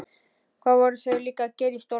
Hvað voru þau líka að gera í stólnum?